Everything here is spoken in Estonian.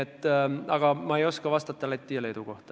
Aga ma ei oska vastata Läti ja Leedu kohta.